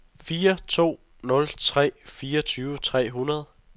fire to nul tre fireogtyve tre hundrede